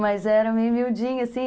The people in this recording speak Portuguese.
Mas era meio miudinha.